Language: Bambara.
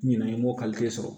Ɲinɛ i m'o sɔrɔ